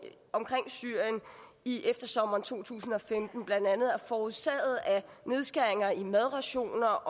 omkring syrien i eftersommeren to tusind og femten blandt andet er forårsaget af nedskæringer i madrationer og